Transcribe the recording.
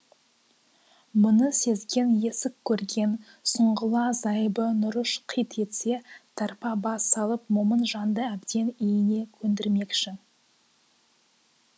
мұны сезген есік көрген сұңғыла зайыбы нұрыш қит етсе тарпа бас салып момын жанды әбден иіне көндірмекші